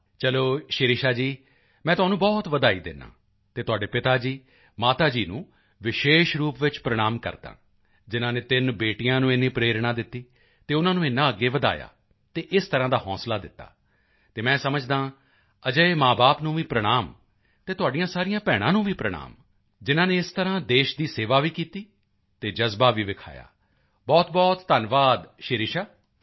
ਵਾਹ ਚਲੋ ਸ਼ਿਰਿਸ਼ਾ ਜੀ ਮੈਂ ਤੁਹਾਨੂੰ ਬਹੁਤ ਵਧਾਈ ਦਿੰਦਾ ਹਾਂ ਅਤੇ ਤੁਹਾਡੇ ਪਿਤਾ ਜੀ ਮਾਤਾ ਜੀ ਨੂੰ ਵਿਸ਼ੇਸ਼ ਰੂਪ ਵਿੱਚ ਪ੍ਰਣਾਮ ਕਰਦਾ ਹਾਂ ਜਿਨ੍ਹਾਂ ਨੇ ਤਿੰਨ ਬੇਟੀਆਂ ਨੂੰ ਇੰਨੀ ਪ੍ਰੇਰਣਾ ਦਿੱਤੀ ਅਤੇ ਉਨ੍ਹਾਂ ਨੂੰ ਏਨਾ ਅੱਗੇ ਵਧਾਇਆ ਅਤੇ ਇਸ ਤਰ੍ਹਾਂ ਦਾ ਹੌਂਸਲਾ ਦਿੱਤਾ ਅਤੇ ਮੈਂ ਸਮਝਦਾ ਹਾਂ ਅਜਿਹੇ ਮਾਂਬਾਪ ਨੂੰ ਵੀ ਪ੍ਰਣਾਮ ਅਤੇ ਤੁਹਾਡੀਆਂ ਸਾਰੀਆਂ ਭੈਣਾਂ ਨੂੰ ਵੀ ਪ੍ਰਣਾਮ ਜਿਨ੍ਹਾਂ ਨੇ ਇਸ ਤਰ੍ਹਾਂ ਦੇਸ਼ ਦੀ ਸੇਵਾ ਵੀ ਕੀਤੀ ਅਤੇ ਜਜ਼ਬਾ ਵੀ ਵਿਖਾਇਆ ਬਹੁਤਬਹੁਤ ਧੰਨਵਾਦ ਸ਼ਿਰਿਸ਼ਾ